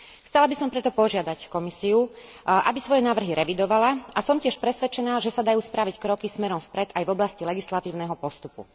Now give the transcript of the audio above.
Chcela by som preto požiadať Komisiu, aby svoje návrhy revidovala a som tiež presvedčená, že sa dajú spraviť kroky smerom vpred aj v oblasti legislatívneho postupu.